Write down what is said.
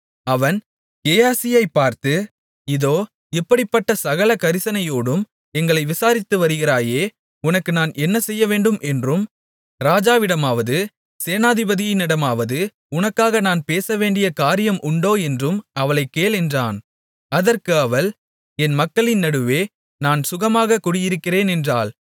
அவன் கேயாசியைப் பார்த்து இதோ இப்படிப்பட்ட சகல கரிசனையோடும் எங்களை விசாரித்து வருகிறாயே உனக்கு நான் என்ன செய்யவேண்டும் என்றும் ராஜாவிடமாவது சேனாதிபதியிடமாவது உனக்காக நான் பேசவேண்டிய காரியம் உண்டோ என்றும் அவளைக் கேள் என்றான் அதற்கு அவள் என் மக்களின் நடுவே நான் சுகமாகக் குடியிருக்கிறேன் என்றாள்